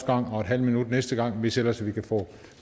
gang og en halv minut næste gang hvis ellers vi kan få